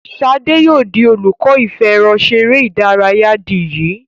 Shade yóò dì olùkó ìfẹ̀rọṣeré ìdárayá dì yí.